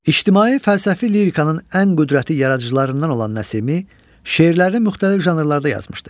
İctimai fəlsəfi lirikanın ən qüdrətli yaradıcılarından olan Nəsimi şeirlərini müxtəlif janrlarda yazmışdır.